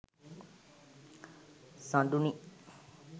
saduni